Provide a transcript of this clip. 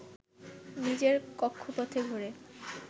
নিজের কক্ষপথে ঘোরে